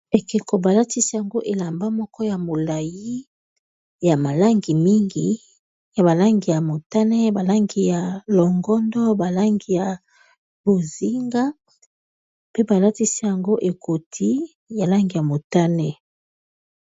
Ekeko ba latisi yango elamba moko ya molayi ya ma langi mingi, ya ba langi ya motane, ba langi ya longondo, ba langi ya bozinga, pe ba latisi yango ekoti ya langi ya motane.